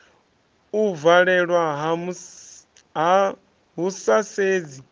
u valelwa hu sa sedzi